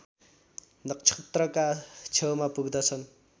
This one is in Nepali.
नक्षत्रका छेउमा पुग्दछन्